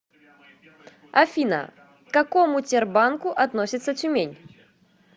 афина к какому тербанку относится тюмень